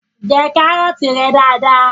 Jẹ kárọ̀tí rẹ dada!